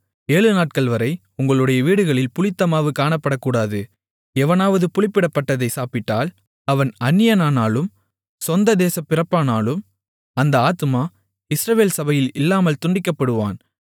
ஏழுநாட்கள்வரை உங்களுடைய வீடுகளில் புளித்தமாவு காணப்படக்கூடாது எவனாவது புளிப்பிடப்பட்டதைச் சாப்பிட்டால் அவன் அந்நியனானாலும் சொந்த தேசப் பிறப்பானாலும் அந்த ஆத்துமா இஸ்ரவேல் சபையில் இல்லாமல் துண்டிக்கப்படுவான்